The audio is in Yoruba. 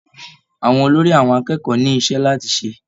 Àwọn olórí àwọn akẹ́kọ̀ọ́ ni iṣẹ́ láti ṣe.